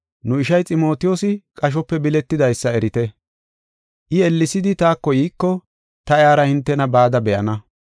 Nu ishay, Ximotiyoosi qashope biletidaysa erite. I ellesidi taako yiiko ta iyara hintena bada be7ana.